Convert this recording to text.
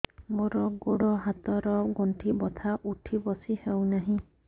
ମୋର ଗୋଡ଼ ହାତ ର ଗଣ୍ଠି ବଥା ଉଠି ବସି ହେଉନାହିଁ